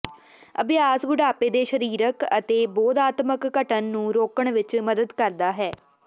ਅਭਿਆਸ ਬੁਢਾਪੇ ਦੇ ਸਰੀਰਕ ਅਤੇ ਬੋਧਾਤਮਕ ਘਟਣ ਨੂੰ ਰੋਕਣ ਵਿਚ ਮਦਦ ਕਰਦਾ ਹੈ